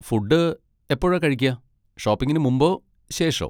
Food എപ്പോഴാ കഴിക്കാ, ഷോപ്പിങ്ങിന് മുമ്പോ ശേഷോ?